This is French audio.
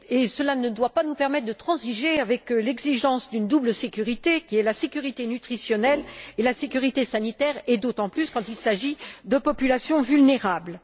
Cela ne doit pas nous permettre de transiger avec l'exigence d'une double sécurité, à savoir la sécurité nutritionnelle et la sécurité sanitaire, d'autant plus quand il s'agit de populations vulnérables.